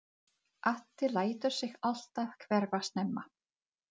Addi lætur sig alltaf hverfa snemma.